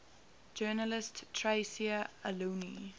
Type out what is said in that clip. journalist tayseer allouni